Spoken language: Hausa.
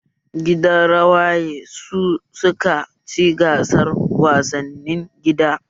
Gidan rawaye su suka ci gasar wasannin gida